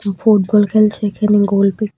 football খেলছে এখানে গোলপি --